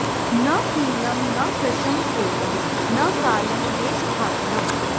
न पीनं न कृशं क्लेदं न कालं देशभाषणम्